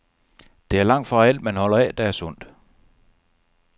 Det er langtfra alt, man holder af, der er sundt.